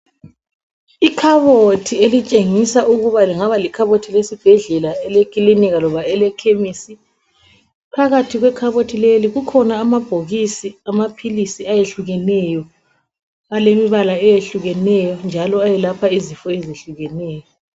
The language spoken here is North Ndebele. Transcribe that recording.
Ikhabothi elitshengisa ukuthi lingaba likhabothi lesibhedlela, elekilinika loba elekhemisi. Phakathi kwekhabothi lelo kukhona amabhokisi kumbe amaphilisi ayehlukeneyo, alemibala eyehlukeneyo njalo ayelapha izifo ezehlukeneyo.